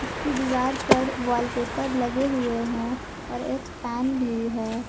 इसकी दीवार पर वॉलपेपर लगे हुए हैं और एक फैन भी है।